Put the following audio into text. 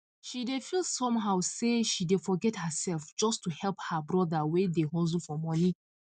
she dey feel somehow say she dey forget herself just to help her brother wey dey hustle for money